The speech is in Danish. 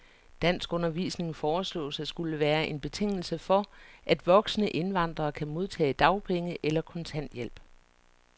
Danskundervisning foreslås at skulle være en betingelse for, at voksne indvandrere kan modtage dagpenge eller kontanthjælp.